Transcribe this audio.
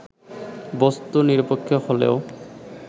বস্তু নিরপেক্ষ হলেও